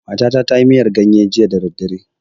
Matata ta yi miyar ganye jiya da daddare.